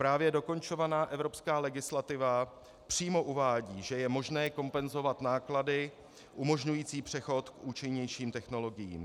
Právě dokončovaná evropská legislativa přímo uvádí, že je možné kompenzovat náklady umožňující přechod k účinnějším technologiím.